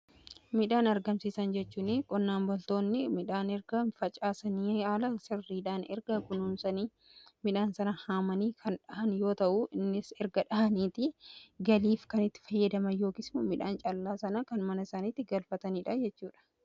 Midhaan argamsiisan jechuun qonnaan bultoonni midhaan erga facaasanii haala sirriidhaan erga kunuumsanii midhaan sana haamanii kan dhahan yoo ta'uu innis erga dhahaniiti galiif kanitti fayyadaman yookiis immoo midhaan caallaa sana kan mana isaaniitti galfataniidha jechuudha.